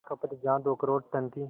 खपत जहां दो करोड़ टन थी